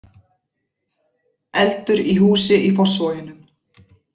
Eldur í húsi í Fossvoginum